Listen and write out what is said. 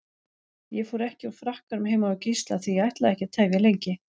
Ég fór ekki úr frakkanum heima hjá Gísla því ég ætlaði ekki að tefja lengi.